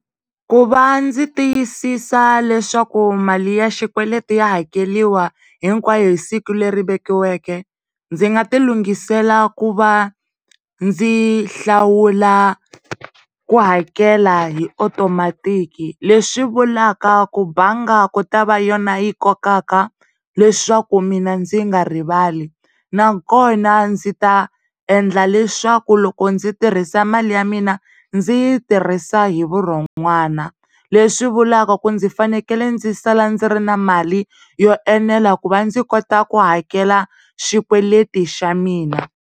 Ku va ndzi tiyisisa leswaku mali ya xikweleti ya hakeleriwa hinkwayo hi siku leri vekiweke ndzi nga tilungisela ku va ndzi hlawula ku hakela hi otomatiki leswi vulaka ku mbanga ku ta va yona yi kokaka leswaku mina ndzi nga rivali na kona ndzi ta endla leswaku loko ndzi tirhisa mali ya mina ndzi yi tirhisa hivurhon'wana leswi vulaka ku ndzi fanekele ndzi sala ndzi ri na mali yo enela ku va ndzi kotaku hakela xikweleti xa mina.